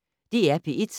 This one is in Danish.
DR P1